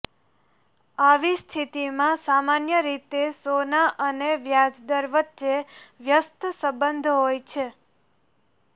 આવી સ્થિતિમાં સામાન્ય રીતે સોના અને વ્યાજદર વચ્ચે વ્યસ્ત સંબંધ હોય છે